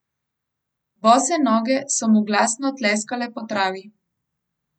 Bose noge so mu glasno tleskale po travi.